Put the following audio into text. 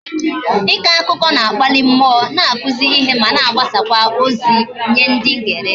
Iko akụkọ na-akpali mmụọ, na-akụzi ihe ma na agbasazikwa ozi nye ndi ngere